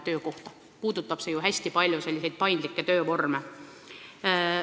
See puudutab hästi palju selliseid paindlikke töövorme.